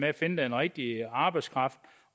at finde den rigtige arbejdskraft